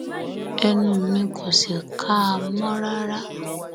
ẹnu mi kò sì ká a mọ rárá